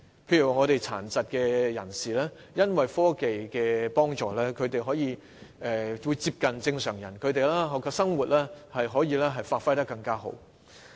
譬如殘疾人士在科技的幫助下，可以過接近正常人的生活，發揮所長。